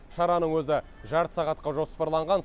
шараның өзі жарты сағатқа жоспарланған